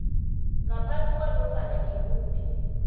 ngaphasi kwanofana ngimuphi